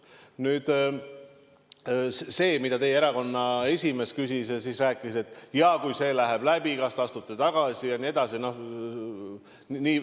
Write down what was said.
Nüüd sellest, mida teie erakonna esimees küsis, pärides ka, et kui see läheb läbi, kas te astute tagasi ja nii edasi.